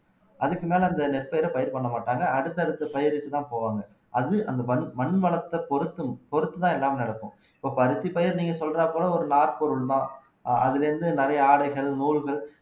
அதுக்கு மேலே அந்த நெற்பயர பயிர் பண்ண மாட்டாங்க அடுத்தடுத்துபயிருக்கு தான் போவாங்க அது அந்த மண் வளத்தை பொருத்தும் பொறுத்துதான் எல்லாமே நடக்கும் இப்ப அரிசிப்பயிறு நீங்க சொல்றப்போல ஒரு நார்ப்பொருள்தான் அதுல இருந்து நிறைய ஆடைகள் நூல்கள்